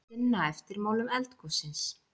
Sinna eftirmálum eldgossins